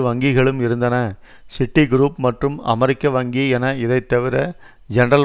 வங்கிகளும் இருந்தன சிட்டிக்ரூப் மற்றும் அமெரிக்க வங்கி என இதைத்தவிர ஜென்ரல்